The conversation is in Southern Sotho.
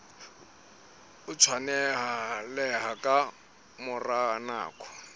o tshwaneleha ka mora nako